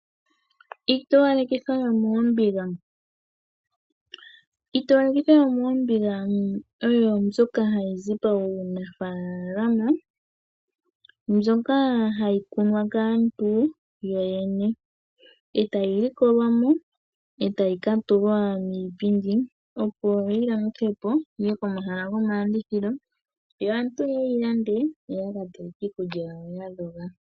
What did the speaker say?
Iitowalekitho yomoombiga oyo mbyoka hayi zi moofalama, hayi kunwa kaantu yoyene. Ohayi likolwa e tayi tulwa miipindi aantu ya lande yo ya ka teleke iikulya yawo ya dhoga.